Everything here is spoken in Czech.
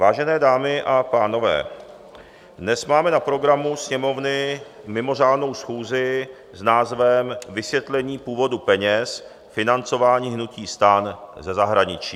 Vážené dámy a pánové, dnes máme na programu Sněmovny mimořádnou schůzi s názvem Vysvětlení původu peněz financování hnutí STAN ze zahraničí.